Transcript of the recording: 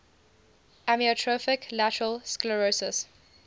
amyotrophic lateral sclerosis